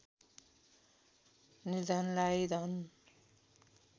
निर्धनलाई धन